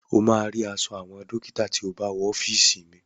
O máa rí aṣọ àwọn dọ́kítà tí o bá wọ ọ́fìsì mi..